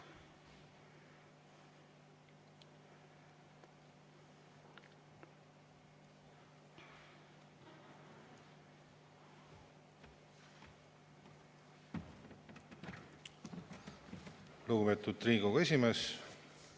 Lugupeetud Riigikogu esimees!